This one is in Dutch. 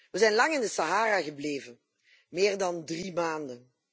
We zijn lang in de Sahara gebleven, meer dan 3 maanden.